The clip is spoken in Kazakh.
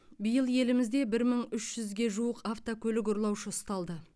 биыл елімізде бір мың үш жүзге жуық автокөлік ұрлаушы ұсталды